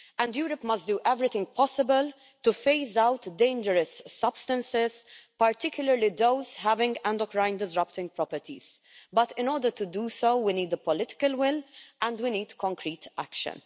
Europe must do everything possible to phase out dangerous substances, particularly those with endocrine disrupting properties. But in order to do so, we need the political will and we need concrete action.